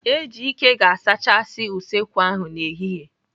Ejike ga-azachasị usekwu ahụ n'ehihie.